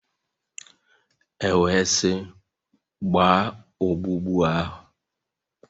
E wee sị, gbaa ogbugbu ahụ!